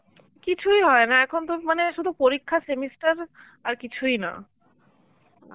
কিছুই হয় না, এখনতো মানে শুধু পরীক্ষা semester আর কিছুই না